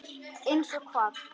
Eins og hvað?